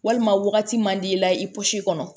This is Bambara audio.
Walima wagati man d'i la i kɔnɔ